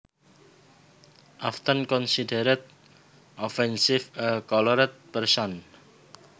often considered offensive A coloured person